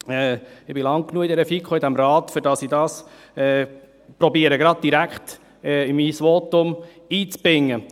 Ich bin lange genug Mitglied der FiKo und dieses Rates, weshalb ich versuche, dies direkt in mein Votum einzubinden.